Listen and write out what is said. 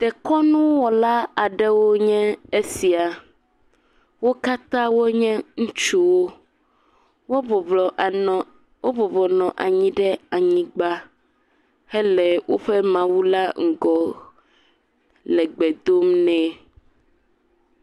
dekɔnu wɔla aɖewo nye esia wókatã wonye ŋutsuwo wó bublɔ wó bɔbɔ nɔ anyi ɖe anyigbã hele wóƒe mawu la ŋgɔ le gbe dom nɛ